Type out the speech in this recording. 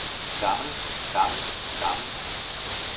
gammel gammel gammel